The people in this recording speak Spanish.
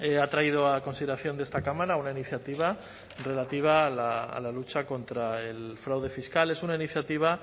ha traído a consideración de esta cámara una iniciativa relativa a la lucha contra el fraude fiscal es una iniciativa